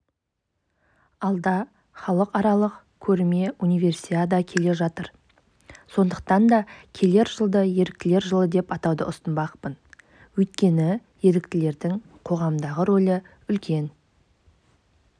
алда халықаралық көрме универсиада келе жатыр сондықтан да келер жылды еріктілер жылы деп атауды ұсынбақпын өйткені еріктілердің қоғамдағы рөлі үлкен